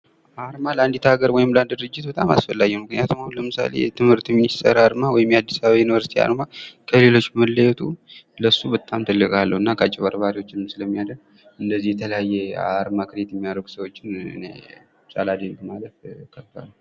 አርማ ለ አንዲት ሀገር ውይም ድርጅት በጣም አስፈላጊ ነው ምክንያቱም አሁን ለ ምሳሌ የ ትምህርት ሚንስቴር ውይም ደግሞ የ አዲስ አበባ ዩኒቨርሲቲ አርማ ከ ሌሎች መለየቱ ለ ሰው ትልቅ ክብር አለው እና ከአጭበርባሪዎች ስለሚያድን እደዚ የተለያዩ አርማዎችን በጣም አስፈላጊ ነው።